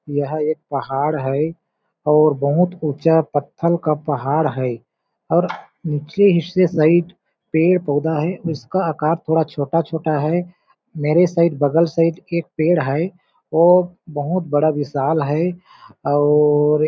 यह एक पहाड़ है और बहुत ऊंचा पत्थल का पहाड़ है और निछले हिस्से साइड पेड़-पौधा है उसका आकार थोड़ा छोटा-छोटा है मेरे साइड बगल से साइड एक पेड़ है वो बहुत बड़ा विशाल है और--